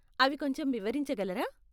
అవి కొంచెం వివరించగలరా?